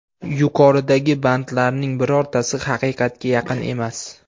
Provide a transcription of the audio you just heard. Yuqoridagi bandlarning birortasi haqiqatga yaqin emas.